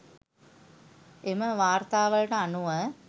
එම වාර්තාවලට අනුව